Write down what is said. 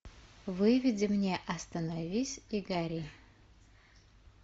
выведи мне остановись и гори